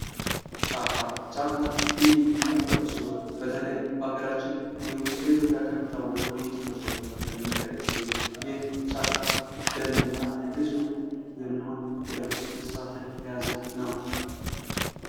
ጫካ :- ጫካ ልዩ ተፈጥሮ ሲሆን በተለይ በከገራችን እንዲሁም በኢትዮጵያ ከሚታወቁ ልዩ ተፈጥሮዎች መካከል የሚጠቀስ ሲሆን ይህ ጫካ ደን እና ብዙ የሚሆን እንስሳትን የያዘ ነዉ።